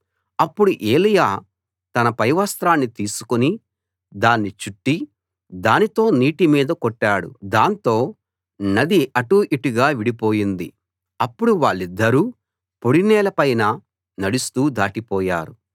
అప్పుడు ఏలీయా తన పైవస్త్రాన్ని తీసుకుని దాన్ని చుట్టి దానితో నీటి మీద కొట్టాడు దాంతో నది అటూ ఇటూగా విడిపోయింది అప్పుడు వాళ్ళిద్దరూ పొడినేల పైన నడుస్తూ దాటిపోయారు